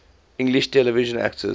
english television actors